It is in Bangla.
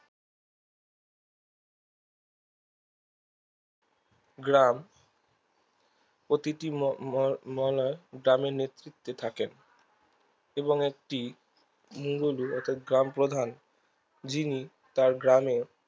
গ্রাম অতিথি মো ~ মলয় গ্রামে নেতৃত্বে থাকে এবং একটি একটা গ্রাম প্রধান যিনি তার গ্রামে